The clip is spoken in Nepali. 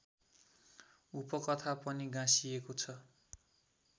उपकथा पनि गाँसिएको छ